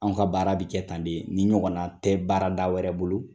An ka baara bɛ kɛ tan de ni ɲɔgɔn tɛ baarada wɛrɛ bolo.